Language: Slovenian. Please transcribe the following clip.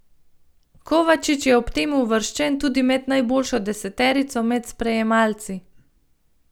Kovačič je ob tem uvrščen tudi med najboljšo deseterico med sprejemalci.